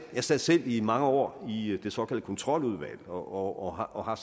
jeg sad selv i mange år i det såkaldte kontroludvalg og har